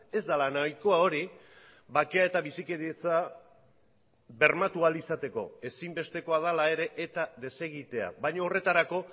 ez dela nahikoa hori bakea eta bizikidetza bermatu ahal izateko ezinbestekoa dela ere eta desegitea baina horretarako